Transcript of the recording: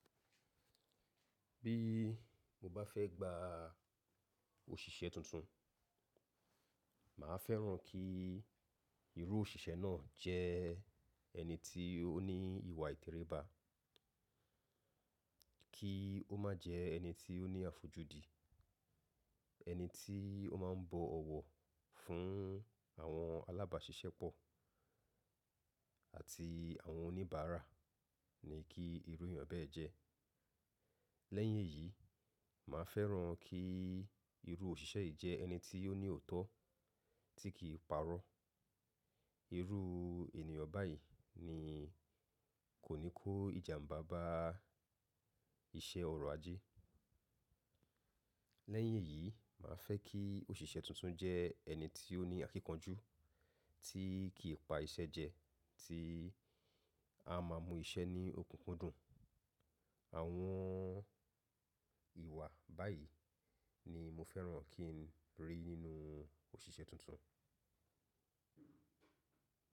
Bí mo bá fẹ́ gba òṣìṣẹ́ tuntun, màá fẹ́ràn kí irú òṣìṣẹ́ náà jẹ́ ẹni tí ó ní ìwà ìtẹríba, kí ó má jẹ ẹni tí ó ní àfojúdi, ẹni tí ó má ń bọ̀ ọ̀wọ̀ fún àwọn alábàáṣiṣẹ́ pọ̀ àti àwọn oníbàárà ni kí irú ènìyàn bẹ́ẹ̀ jẹ́. Lẹ́yìn èyí, màá fẹ́ràn kí irú òṣìṣẹ́ yìí jẹ́ ẹni tí ó ní òótọ́ tí kìí parọ́. Irú ènìyàn báyìí ni kò ní kó ìjàmbá bá iṣẹ́ ọrọ̀ ajẹ́. Lẹ́yìn èyí, mà á fẹ́ kí òṣìṣẹ́ tuntun jẹ́ ẹni tí ó ní àkínkanjú, tí kì í pa iṣẹ́ jẹ, tí a má a mu iṣẹ́ ní okùnkùndùn. Àwọn ìwà báyìí ni mo fẹ́ràn kí n rí nínú òṣìṣẹ́ tuntun.